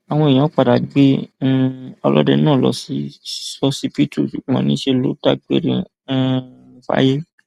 àwọn èèyàn padà gbé um ọlọdẹ náà lọ ṣọsibítù ṣùgbọn níṣẹ ló dágbére um fáyé